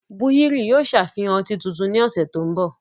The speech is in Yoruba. Búhírì yóò ṣàfihán ọtí tuntun ní ọ̀sẹ̀ tí ń bò